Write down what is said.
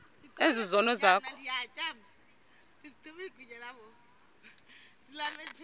ezi zono zakho